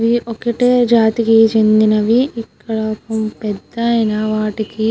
ఇవి ఒకటే జాతికి చెందినవి. ఇక్కడ పెద్దయిన వాటికి --